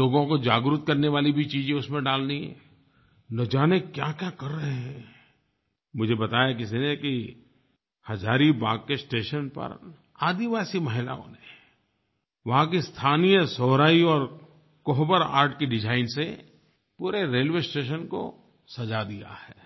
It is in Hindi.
लोगों को जागरूक करने वाली भी चीज़ें उसमें डालनी हैं न जाने क्याक्या कर रहे हैं मुझे बताया किसी ने कि हज़ारीबाग़ के स्टेशन पर आदिवासी महिलाओं ने वहाँ की स्थानीय सोहराई और कोहबर आर्ट की डिज़ाइन से पूरे रेलवे स्टेशन को सज़ा दिया है